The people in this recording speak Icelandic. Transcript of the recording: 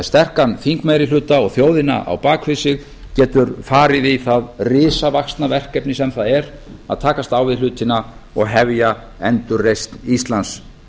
sterkan þingmeirihluta og þjóðina á bak við sig getur farið í það risavaxna verkefni sem það er að takast á við hlutina og hefja endurreisn íslands